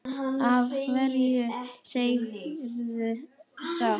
Af hverju segirðu þetta?